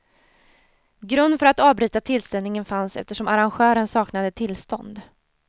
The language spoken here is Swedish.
Grund för att avbryta tillställningen fanns eftersom arrangören saknade tillstånd.